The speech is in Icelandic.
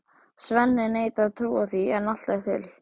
Svenni neitar að trúa því en allt er til.